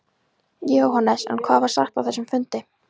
Jóhannes: En hvað var sagt á þessum fundi?